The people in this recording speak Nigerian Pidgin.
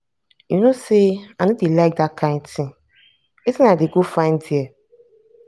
you no say i no dey like dat kin thing.wetin i dey go find there?